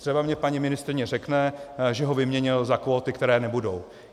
Třeba mi paní ministryně řekne, že ho vyměnil za kvóty, které nebudou.